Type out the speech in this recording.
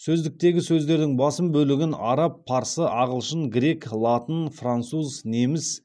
сөздіктегі сөздердің басым бөлігін араб парсы ағылшын грек латын француз неміс испан тілдерінен енген сөздер құрайды